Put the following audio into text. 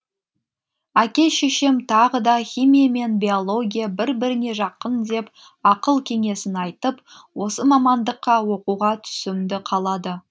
әке шешем тағы да химия мен биология бір біріне жақын деп ақыл кеңесін айтып осы мамандыққа оқуға түсуімді қалады